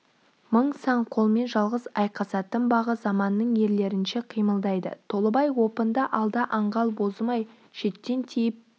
мың сан қолмен жалғыз айқасатын бағы заманның ерлерінше қимылдайды толыбай опынды алда аңғал бозым-ай шеттен тиіп